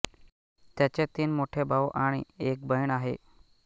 त्याचे तीन मोठे भाऊ आणि एक बहीण आहे